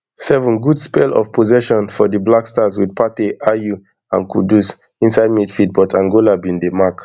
sevengood spell of possession for di blackstars wit partey ayew and kudus inside midfield but angola bin dey mark